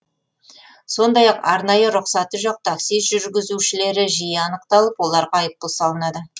сондай ақ арнайы рұқсаты жоқ такси жүргізушілері жиі анықталып оларға айыппұл салынады